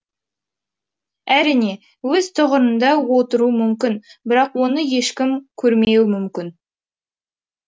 әрине өз тұғырында отыруы мүмкін бірақ оны ешкім көрмеуі мүмкін